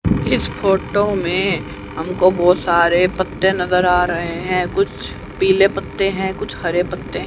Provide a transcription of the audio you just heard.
इस फोटो में हमको बहोत सारे पत्ते नजर आ रहे हैं कुछ पीले पत्ते हैं कुछ हरे पत्ते--